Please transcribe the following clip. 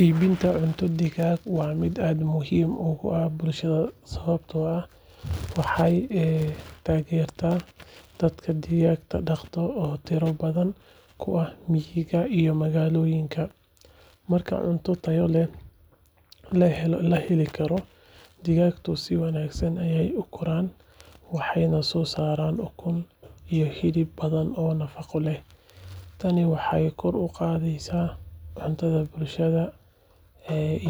Iibinta cunto digaag waa mid aad muhiim ugu ah bulshada sababtoo ah waxay taageertaa dadka digaagga dhaqda oo tiro badan ku ah miyiga iyo magaalooyinka. Marka cunto tayo leh la heli karo, digaaggu si wanaagsan ayay u koraan, waxayna soo saaraan ukun iyo hilib badan oo nafaqo leh. Tani waxay kor u qaadaysaa cuntada bulshada